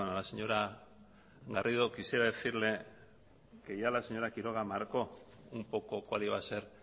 la señora garrido quisiera decirle que ya la señora quiroga marcó un poco cuál iba a ser